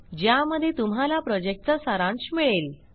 ज्यामध्ये तुम्हाला प्रॉजेक्टचा सारांश मिळेल